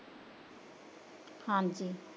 ਹਾਂਜੀ